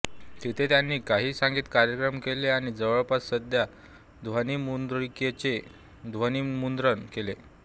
तिथे त्यांनी काही संगीत कार्यक्रम केले आणि जवळपास सहा ध्वनिमुद्रिकांचे ध्वनिमुद्रण केले